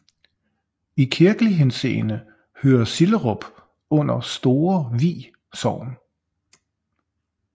I kirkelig henseende hører Sillerup under Store Vi Sogn